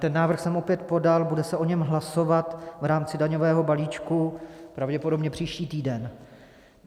Ten návrh jsem opět podal, bude se o něm hlasovat v rámci daňového balíčku pravděpodobně příští týden.